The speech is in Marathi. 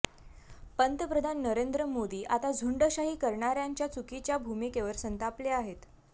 पंतप्रधान नरेंद्र मोदी आता झुंडशाही करणाऱ्यांच्या चुकीच्या भूमिकेवर संतापले आहेत